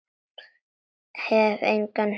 Hef engan hitt og.